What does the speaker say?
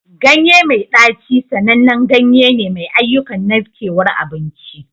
Ganye mai ɗaci sanannen ganye ne mai ayyukan narkewar abinci.